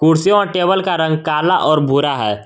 कुर्सियों और टेबल का रंग काला और गोरा है।